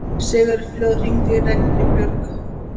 Sigurfljóð, hringdu í Reginbjörgu.